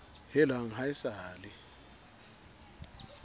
helang ha e sa le